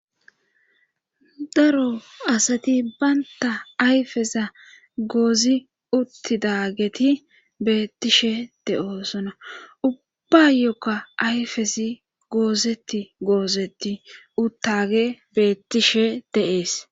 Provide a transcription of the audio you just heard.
Daro asati baynta ayfeza goozi uttidageti beettishe de7oosona ubbbayokka ayfesi goozeti goozeti uttage beettishe deees.